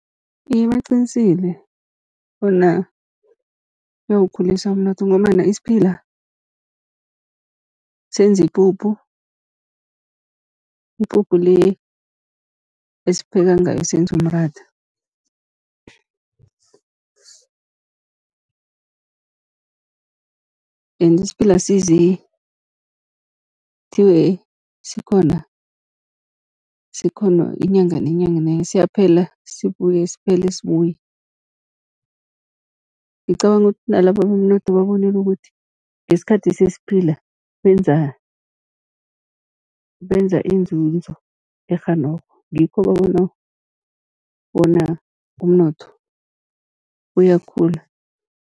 Iye, baqinisile bona kuyawukhulisa umnotho, ngombana isiphila senza ipuphu, ipuphu le esipheka ngayo senze umratha. ende isiphila asizi kuthiwe sikhona, sikhona inyanga nenyanga nenye siyaphela sibuye, siphele sibuye. Ngicabanga ukuthi nalaba bomnotho babonile ukuthi, ngesikhathi sesiphila benza inzuzo e-genog, ngikho babona bona umnotho uyakhula.